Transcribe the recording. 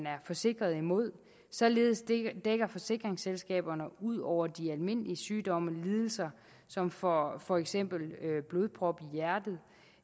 er forsikret imod således dækker forsikringsselskaberne ud over de almindelige sygdomme lidelser som for for eksempel blodprop